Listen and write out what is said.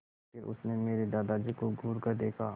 फिर उसने मेरे दादाजी को घूरकर देखा